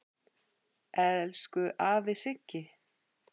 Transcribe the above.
Elsku afi Siggi.